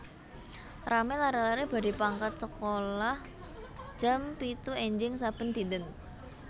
Rame lare lare badhe pangkat sekolah jam pitu enjing saben dinten